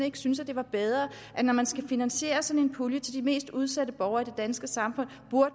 ikke synes det var bedre når man skal finansiere sådan en pulje til de mest udsatte borgere i det danske samfund